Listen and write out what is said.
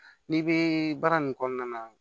N'i bɛ baara nin kɔnɔna na